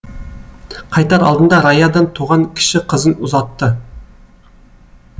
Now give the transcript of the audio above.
қайтар алдында раядан туған кіші қызын ұзатты